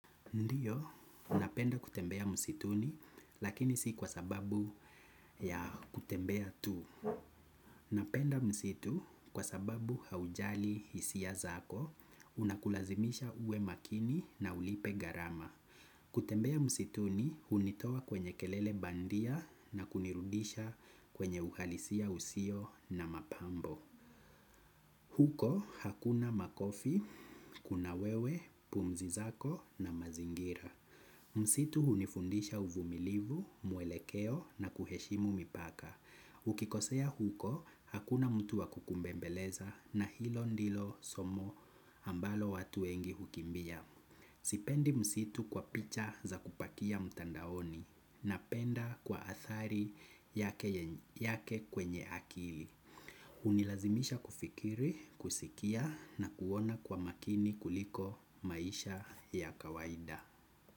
Ndio napenda kutembea msituni lakini si kwa sababu ya kutembea tu napenda msitu kwa sababu haujali hisia zako, unakulazimisha uwe makini na ulipe garama. Kutembea msituni, unitoa kwenye kelele bandia na kunirudisha kwenye uhalisia usio na mapambo. Huko hakuna makofi, kuna wewe, pumzi zako na mazingira. Msitu hunifundisha uvumilivu mwelekeo na kuheshimu mipaka. Ukikosea huko, hakuna mtu wa kukumbembeleza na hilo ndilo somo ambalo watu wengi hukimbia. Sipendi msitu kwa picha za kupakia mtandaoni napenda kwa athari yake kwenye akili. Hunilazimisha kufikiri kusikia na kuona kwa makini kuliko maisha ya kawaida.